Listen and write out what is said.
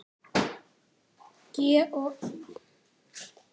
GOS- Selfoss